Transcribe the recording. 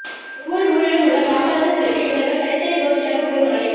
ஒவ்வொரு ஊரிலும் உள்ள காமராஜர் சிலைக்கு இவர்கள் தனித் தனி கோஷ்டியாக போய் மாலை